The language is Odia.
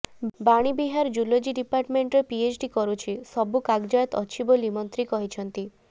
ବାଣୀବିହାର ଜୁଲୋଜି ଡିପାର୍ଟମେଣ୍ଟରେ ପିଏଚ୍ଡି କରୁଛି ସବୁ କାଗଜାତ ଅଛି ବୋଲି ମନ୍ତ୍ରୀ କହିଛନ୍ତି